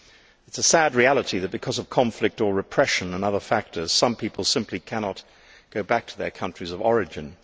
It is a sad reality that, because of conflict or repression and other factors, some people simply cannot go back to their countries of origin.